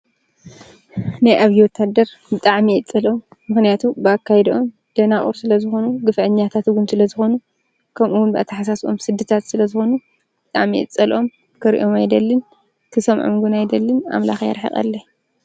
ነይ ኣብወታደር ብጣዕ ሚየጸልኦም ምህንያቱ ብኣካይድኦም ደናቑር ስለ ዝኾኑ ግፊአኛታትጉም ስለ ዝኾኑ ከምኡውን ብኣታ ሓሳስኦም ሥድታት ስለ ዝኾኑ ብጣዕሚየጸልኦም ክርእዮም ኣይደልን ክሶምዖምጎን ኣይደልን ኣምላኽ ይረሕቐለይ።